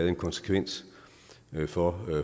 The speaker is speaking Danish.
en konsekvens for